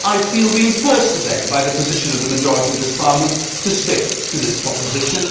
I feel reinforced today by the position of the majority of this Parliament to stick to this proposition.